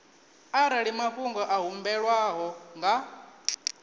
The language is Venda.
arali mafhungo a humbelwaho nga